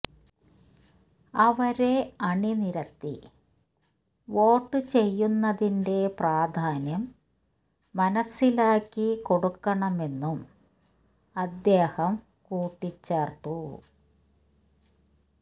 അവരെ അണിനിരത്തി വോട്ട് ചെയ്യുന്നതിന്റെ പ്രാധാന്യം മനസ്സിലാക്കി കൊടുക്കണമെന്നും അദ്ദേഹം കൂട്ടിച്ചേർത്തു